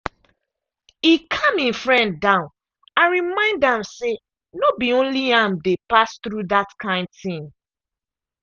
e calm him friend down and remind am say no be only am dey pass through that kind thing.